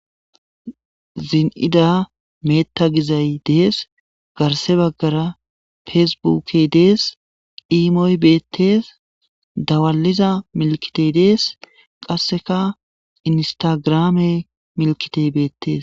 Zini'ida meta giizay dessi garsse baggara fessi buukey dessi iimmoy bettes dawaliza millikitey bettes qasseka iinisstagrammey milkkitey bettes.